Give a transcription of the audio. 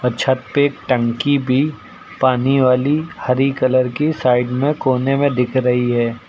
छत पे टंकी भी पानी वाली हरी कलर की साइड में कोने में दिख रही है।